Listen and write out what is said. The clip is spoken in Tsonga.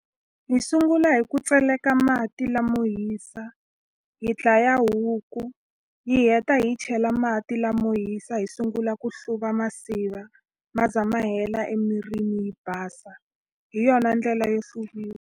Hi sungula hi ku tseleka mati lamo hisa hi dlaya huku hi heta hi yi chela mati lamo hisa hi sungula ku hluva masiva ma za ma hela emirini yi basa hi yona ndlela yo .